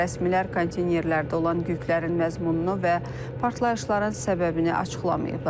Rəsmilər konteynerlərdə olan yüklərin məzmununu və partlayışların səbəbini açıqlamayıblar.